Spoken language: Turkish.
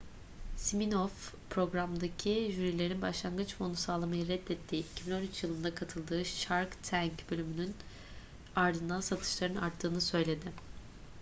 siminoff programdaki jürilerin başlangıç fonu sağlamayı reddettiği 2013 yılında katıldığı shark tank bölümünün ardından satışların arttığını söyledi